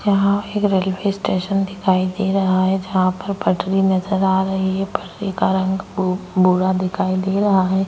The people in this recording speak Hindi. यहां एक रेलवे स्टेशन दिखाई दे रहा है जहां पर पटरी नजर आ रही है पटरी का रंग बूढ़ा दिखाई दे रहा है।